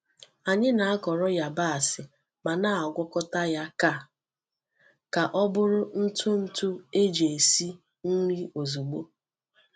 Anyị na-akọrọ yabasị ma na-agwakọta ya ka ka ọ bụrụ ntụ ntụ eji esi nri ozugbo.